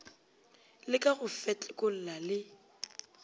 le ka go fetlekolla le